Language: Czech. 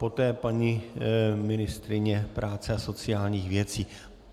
Poté paní ministryně práce a sociálních věcí.